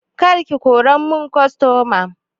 Kar ki kora mun kostoma!